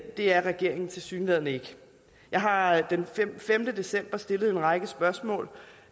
er regeringen tilsyneladende ikke jeg har den femte december stillet en række spørgsmål